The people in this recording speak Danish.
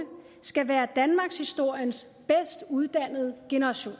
skal være danmarkshistoriens bedst uddannede generation